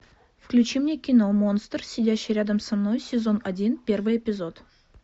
включи мне кино монстр сидящий рядом со мной сезон один первый эпизод